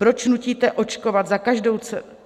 Proč nutíte